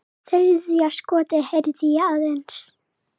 Þriðja skotið heyrði ég aðeins.